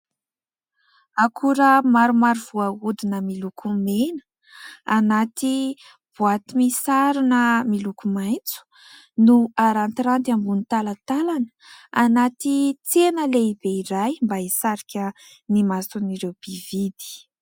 Akora maromaro voahodina miloko mena anaty boaty misarona miloko maitso no arantiranty ambony talantalana anaty tsena lehibe iray mba hisarika ny mason'ireo mpividy.